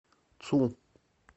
цу